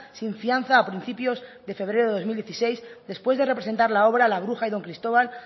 sin fianza a principios de febrero de dos mil dieciséis después de representar la obra la bruja y don cristóbal